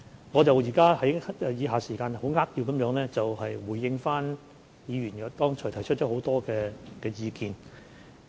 我現在會在餘下時間扼要回應議員剛才提出的許多意見。